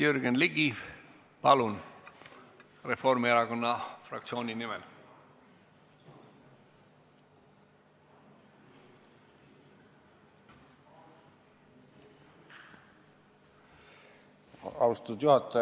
Jürgen Ligi, palun, Reformierakonna fraktsiooni nimel!